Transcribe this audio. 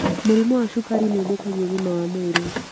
Mũrimũ wa cukari nĩũthũkagia ũgima wa mwĩrĩ